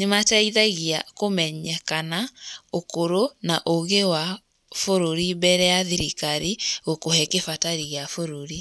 nĩ mateithagia kũmenyekana ũkũrũ na ũgi wa bũrũri, mbere ya thirikari gũkũhe gĩbatari kĩa bũrũri.